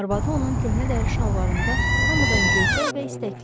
Arvadı onun köhnə dəri şalvarında hamıdan göyçək və istəkli idi.